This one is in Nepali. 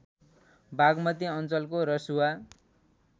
बाग्मती अञ्चलको रसुवा